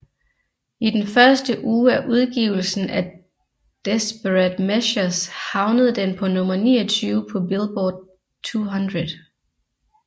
I den første uge af udgivelsen af Desperate Measures havnede den på nummer 29 på Billboard 200